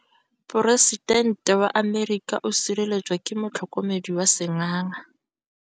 Poresitêntê wa Amerika o sireletswa ke motlhokomedi wa sengaga.